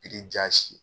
Biriki jasi